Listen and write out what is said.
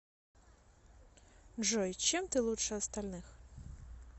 джой чем ты лучше остальных